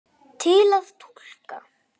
Til að túlka